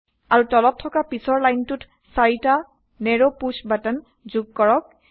আৰু তলত থকা পিছৰ লাইনটোত 4টা নেৰো পুশ্ব বাটন যোগ কৰক